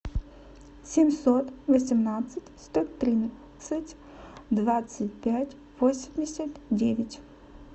семьсот восемнадцать сто тридцать двадцать пять восемьдесят девять